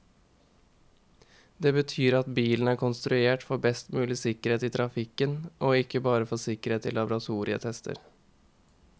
Det betyr at bilen er konstruert for best mulig sikkerhet i trafikken, og ikke bare for sikkerhet i laboratorietester.